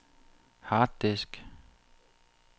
harddisk